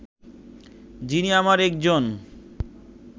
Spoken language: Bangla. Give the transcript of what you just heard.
যিনি আমার একজন